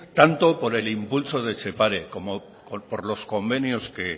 tanto por el impulso de etxepare como por los convenios